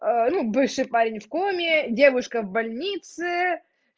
ну бывший парень в коме девушка в больнице